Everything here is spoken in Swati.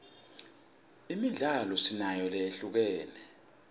imidlalo sinayo lehlukene